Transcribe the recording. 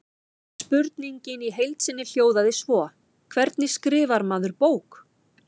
Spurningin í heild sinni hljóðaði svo: Hvernig skrifar maður bók?